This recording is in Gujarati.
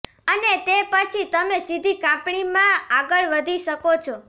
અને તે પછી તમે સીધી કાપણીમાં આગળ વધી શકો છો